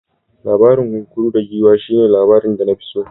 Labarin kunkuru da giwa shine labarin da na fi so.